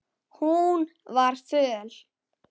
Hún var föl.